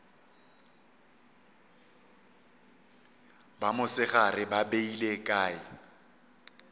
ba mosegare ba beile kae